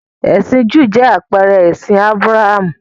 Ẹ̀sìn Júù jẹ́ àpẹẹrẹ ẹ̀sìn Ábúráhámù.